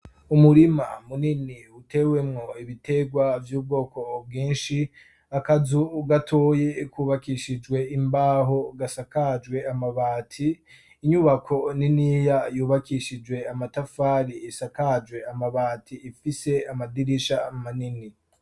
Umurima munini utewemwo ibitegwa vy'ubwoko bwinshi akazu gatoyi kubakishijwe imbaho gasakajwe amabati inyubako niniya yubakishijwe amatafari isakajwe amabati ifise amadirisha manini.